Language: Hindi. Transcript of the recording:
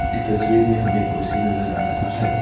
इस तस्वीर में हमें एक कुर्सी नजर आ रहा है।